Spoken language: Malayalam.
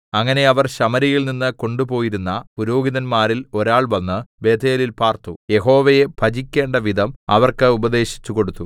അങ്ങനെ അവർ ശമര്യയിൽനിന്ന് കൊണ്ടുപോയിരുന്ന പുരോഹിതന്മാരിൽ ഒരാൾ വന്ന് ബേഥേലിൽ പാർത്തു യഹോവയെ ഭജിക്കേണ്ട വിധം അവർക്ക് ഉപദേശിച്ചുകൊടുത്തു